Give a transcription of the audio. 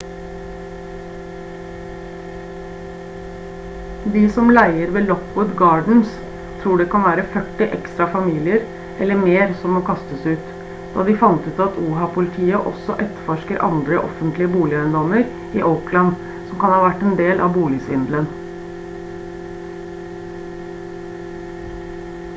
de som leier ved lockwood gardens tror det kan være førti ekstra familier eller mer som må kastes ut da de fant ut at oha-politiet også etterforsker andre offentlige boligeiendommer i oakland som kan ha vært en del av boligsvindelen